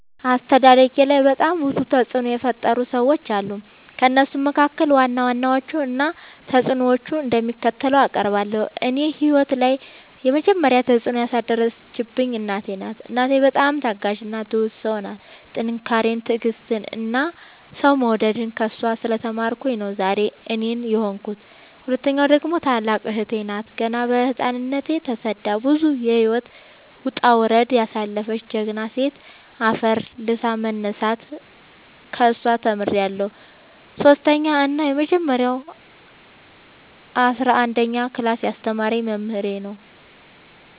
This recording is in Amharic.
አስተዳደጌላይ በጣም ብዙ ተፅዕኖ የፈጠሩ ሰዎች አሉ። ከእነሱም መካከል ዋና ዋናዎቹን እና ተፅዕኖቸው እንደሚከተለው አቀርባለሁ። እኔ ህይወት ላይ የመጀመሪ ተፅዕኖ ያሳደረችብኝ እናቴ ናት። እናቴ በጣም ታጋሽ እና ትሁት ሰው ናት ጥንካሬን ትዕግስትን እና ሰው መውደድን ከእሷ ስለ ተማርኩኝ ነው ዛሬ እኔን የሆንኩት። ሁለተኛዋ ደግሞ ታላቅ እህቴ ናት ገና በህፃንነቶ ተሰዳ ብዙ የህይወት ወጣውረድ ያሳለፈች ጀግና ሴት አፈር ልሶ መነሳትን ከሷ ተምሬለሁ። ሰሶስተኛው እና የመጀረሻው አስረአንደኛ ክላስ ያስተማረኝ መምህሬ ነው።